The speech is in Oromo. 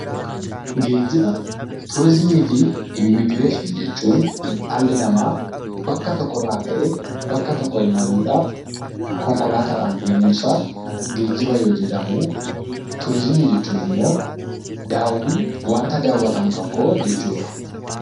Geejjiba, Turiizimii fi Immigireeshinii jechuun dhalli namaa bakka tokko irraa ka'ee bakka tokkotti imaluudhaaf konkolaataadhaan deemuun isaa 'Geejjiba' yoo jedhamu; Turiizimii jechuun immoo daawwii, wanta daawwatamu tokko jechuu dha.